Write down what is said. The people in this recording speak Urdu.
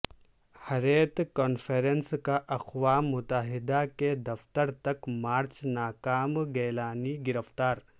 حریت کانفرنس کا اقوام متحدہ کے دفتر تک مارچ ناکام گیلانی گرفتار